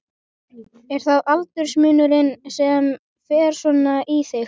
Er það aldursmunurinn sem fer svona í þig?